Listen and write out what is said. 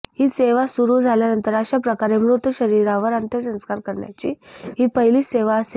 ही सेवा सुरू झाल्यानंतर अशा प्रकारे मृत शरीरावर अंत्यसंस्कार करण्याची ही पहिलीच सेवा असेल